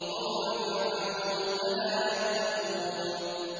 قَوْمَ فِرْعَوْنَ ۚ أَلَا يَتَّقُونَ